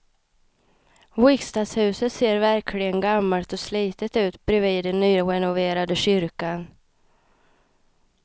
Riksdagshuset ser verkligen gammalt och slitet ut bredvid den nyrenoverade kyrkan.